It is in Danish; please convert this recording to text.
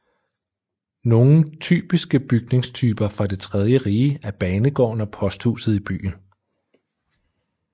Nogle typiske bygningstyper fra det tredje rige er banegården og posthuset i byen